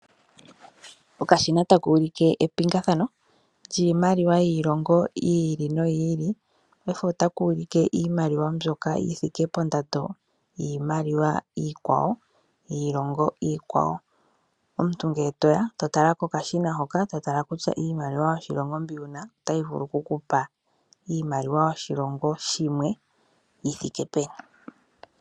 Okashina ta kuulike epingathano lyiimaliwa yiilongo yi ili noyi ili. Paife ota kuulike iimaliwa mbyoka yi thike pondando yiimaliwa iikwawo yiilongo iikwawo. Omuntu ngele to ya to tala kokashina hoka, to tala kutya iimaliwa yoshilongo mbi wuna otayi vulu kukupa iimaliwa yoshilongo shimwe yi thike peni.